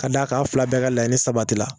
Ka d'a kan aw fila bɛɛ ka laɲini sabati la